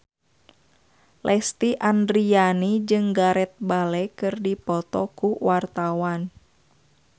Lesti Andryani jeung Gareth Bale keur dipoto ku wartawan